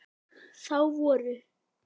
Þá voru